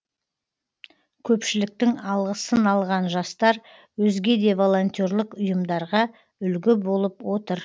көпшіліктің алғысын алған жастар өзге де волонтерлік ұйымдарға үлгі болып отыр